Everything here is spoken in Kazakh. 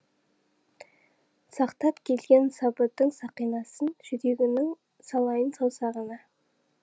сақтап келген сабырдың сақинасын жүрегіңнің салайын саусағына